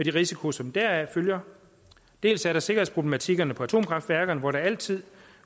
risiko som deraf følger dels er der sikkerhedsproblematikkerne på atomkraftværkerne hvor der altid